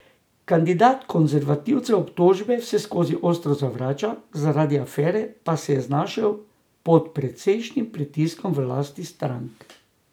Kandidat konservativcev obtožbe vseskozi ostro zavrača, zaradi afere pa se je znašel pod precejšnjim pritiskom v lastni stranki.